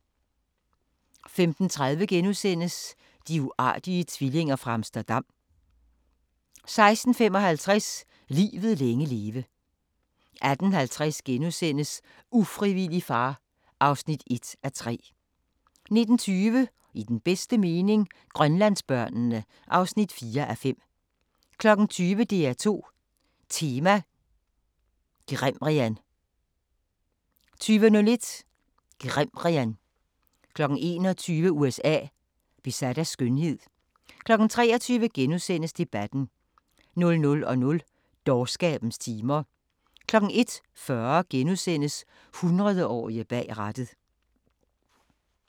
15:30: De uartige tvillinger fra Amsterdam * 16:55: Livet længe leve 18:50: Ufrivillig far (1:3)* 19:20: I den bedste mening – Grønlandsbørnene (4:5) 20:00: DR2 Tema: Grimrian 20:01: Grimrian 21:00: USA: Besat af skønhed 23:00: Debatten * 00:00: Dårskabens timer 01:40: 100-årige bag rattet *